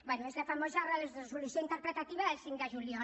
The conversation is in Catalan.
bé és la famosa resolució interpretativa del cinc de juliol